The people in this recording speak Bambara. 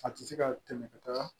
A tɛ se ka tɛmɛ ka taga